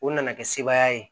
O nana kɛ sebaaya ye